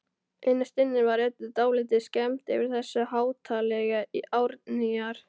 Innst inni var Eddu dálítið skemmt yfir þessu háttalagi Árnýjar.